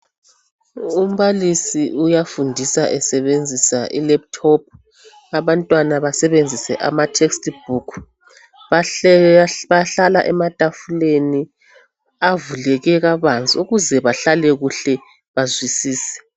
Umbalisi uyafundisa esebenzisa i"Laptop" ,abantwana basebenzise ama"text book".Bahlala ematafuleni avuleke kabanzi ukuze bahlale kuhle bazwisise.